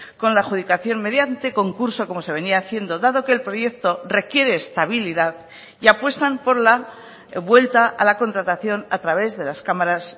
con la adjudicación mediante concurso como se venía haciendo dado que el proyecto requiere estabilidad y apuestan por la vuelta a la contratación a través de las cámaras